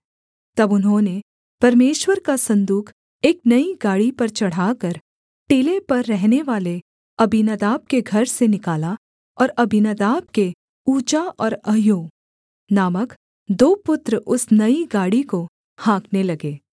तब उन्होंने परमेश्वर का सन्दूक एक नई गाड़ी पर चढ़ाकर टीले पर रहनेवाले अबीनादाब के घर से निकाला और अबीनादाब के उज्जा और अह्यो नामक दो पुत्र उस नई गाड़ी को हाँकने लगे